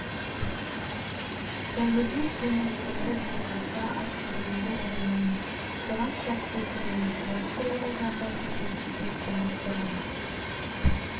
зәуіде сен айтқандай бола қалса айтқаныңды орындаймыз оған шәк келтірме тракторлар жардан төмен түспек болып бұрыла